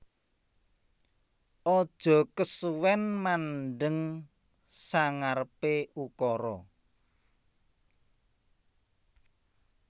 Aja kesuwen mandheng sangarepe ukura